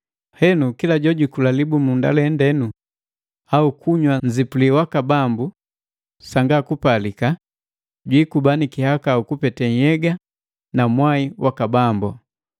Henu kila jojukula libumunda lendenu au kunywa nzipuli waka Bambu sanga kupalika, jwiikuba na kihakau kupete nhyega na mwai waka Bambu.